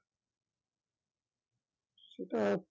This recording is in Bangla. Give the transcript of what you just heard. সেটা